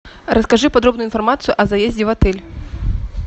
расскажи подробную информацию о заезде в отель